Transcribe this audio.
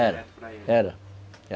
Era, era.